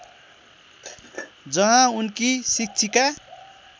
जहाँ उनकी शिक्षिका